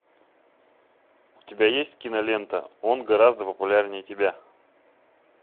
у тебя есть кинолента он гораздо популярнее тебя